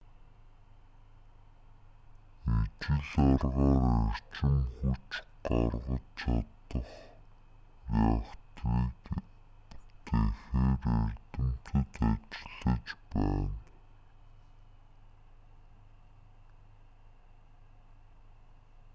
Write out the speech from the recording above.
ижил аргаар эрчим хүч гаргаж чадах реакторыг бүтээхээр эрдэмтэд ажиллаж байна